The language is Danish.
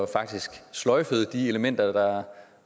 faktisk sløjfet de grønne elementer